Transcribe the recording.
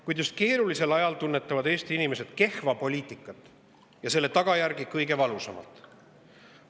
Kuid just keerulisel ajal tunnetavad Eesti inimesed kehva poliitikat ja selle tagajärgi kõige valusamalt.